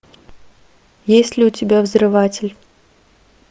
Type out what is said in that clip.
есть ли у тебя взрыватель